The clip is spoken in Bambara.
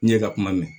N ɲɛ ka kuma mɛn